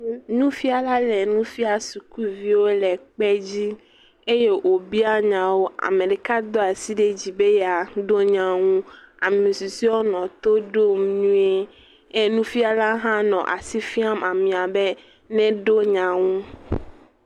Nufila le nu fia sukuviwo le kpe dzi eye wobia nya wo. Ame ɖeka do asi ɖe dzi be yeaɖo nya nu. Ame susɔewo nɔ to ɖom nyuie. E nufiala hã nɔ asi fiam amea be neɖo nya nu.